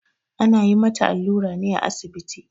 Ana yin mata allura ne a asibiti.